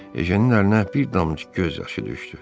Ejenin əlinə bir damcı göz yaşı düşdü.